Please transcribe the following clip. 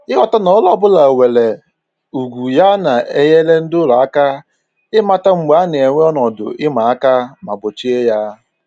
Ịghọta na ọrụ ọbụla nwere ugwu ya na-enyere ndị ụlọ aka ịmata mgbe a na-enwe ọnọdụ ịma aka ma gbochie ya